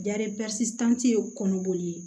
ye kɔnɔboli ye